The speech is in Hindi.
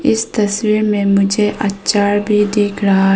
इस तस्वीर में मुझे आचार भी दिख रहा है।